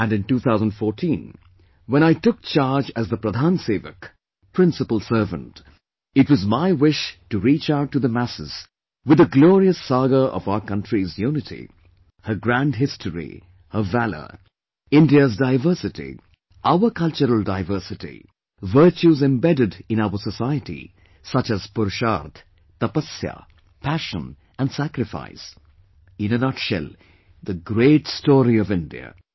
And in 2014, when I took charge as the Pradhan Sevak, Principal Servant, it was my wish to reach out to the masses with the glorious saga of our country's unity, her grand history, her valour, India's diversity, our cultural diversity, virtues embedded in our society such as Purusharth, Tapasya, Passion & sacrifice; in a nutshell, the great story of India